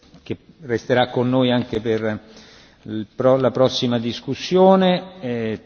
Comunico di aver ricevuto sette proposte di risoluzione a conclusione di questa discussione.